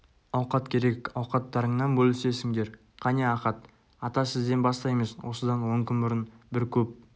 ауқат керек ауқаттарыңнан бөлісесіңдер қане ахат ата сізден бастаймыз осыдан он күн бұрын бір көп